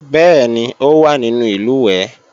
Bẹ́ẹ̀ni, ó wá nínú ìlùwẹ̀ẹ̀